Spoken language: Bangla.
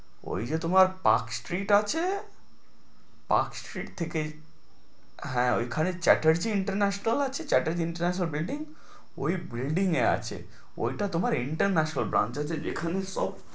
ওই যে তোমার palk strait আছে palk strait থেকে হ্যাঁ ওইখানে Chaterjee international আছে Chaterjee international building ও building এ আছে ওইটা তোমার international brance আছে যেখানে সব